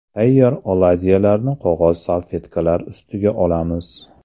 Tayyor oladyilarni qog‘oz salfetkalar ustiga olamiz.